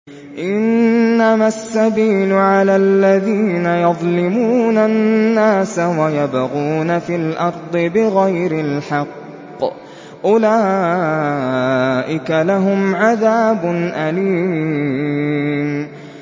إِنَّمَا السَّبِيلُ عَلَى الَّذِينَ يَظْلِمُونَ النَّاسَ وَيَبْغُونَ فِي الْأَرْضِ بِغَيْرِ الْحَقِّ ۚ أُولَٰئِكَ لَهُمْ عَذَابٌ أَلِيمٌ